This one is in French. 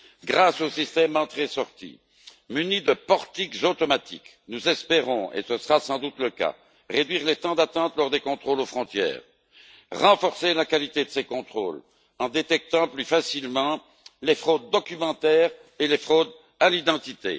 Grâce au système d'entrée sortie muni de portiques automatiques, nous espérons et ce sera sans doute le cas réduire les temps d'attente lors des contrôles aux frontières, renforcer la qualité de ces contrôles en détectant plus facilement les fraudes documentaires et les fraudes à l'identité.